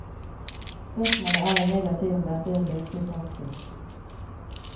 Spørsmålet er imidlertid om dette vil virke i praksis.